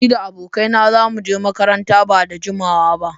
Ni da abokaina za mu je makaranta ba da jimawa ba.